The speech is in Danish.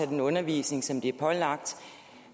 den undervisning som de er pålagt